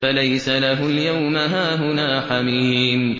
فَلَيْسَ لَهُ الْيَوْمَ هَاهُنَا حَمِيمٌ